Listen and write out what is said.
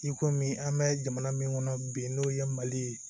I komi an bɛ jamana min kɔnɔ bi n'o ye mali ye